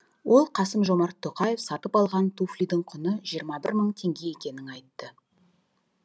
ол қасым жомарт тоқаев сатып алған туфлидің құны жиырма бір мың теңге екенін айтты